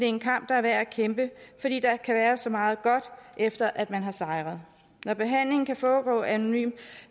en kamp der er værd at kæmpe fordi der kan være så meget godt efter at man har sejret når behandlingen kan foregå anonymt